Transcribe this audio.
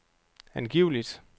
angiveligt